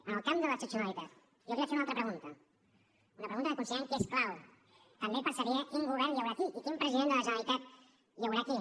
en el camp de l’excepcionalitat jo li vaig fer una altra pregunta una pregunta que considerem que és clau també per saber quin govern hi haurà aquí i quin president de la generalitat hi haurà aquí